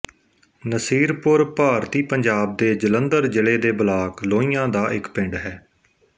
ਨਸੀਰਪੁਰ ਭਾਰਤੀ ਪੰਜਾਬ ਦੇ ਜਲੰਧਰ ਜ਼ਿਲ੍ਹੇ ਦੇ ਬਲਾਕ ਲੋਹੀਆਂ ਦਾ ਇੱਕ ਪਿੰਡ ਹੈ